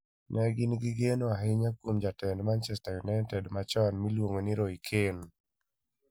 Ne gin gi geno ahinya kuom jatend Manchester United machon miluongo ni Roy Keane.